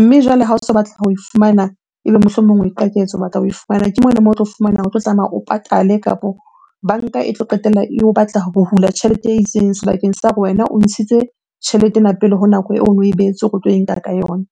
Mme jwale ha o so batla ho e fumana, ebe mohlomong o o batla ho e fumana. Ke mole moo o tlo fumana o tlo tlameha o patale kapo banka e tlo qetella eo batla ho hula tjhelete e itseng sebakeng sa hore wena o ntshitse tjhelete ena pele ho nako eno e behetswe hore o tlo e nka ka yona.